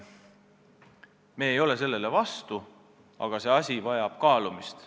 Me ei ole selle vastu, aga asi vajab kaalumist.